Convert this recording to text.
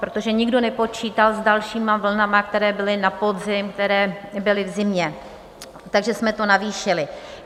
Protože nikdo nepočítal s dalšími vlnami, které byly na podzim, které byly v zimě, takže jsme to navýšili.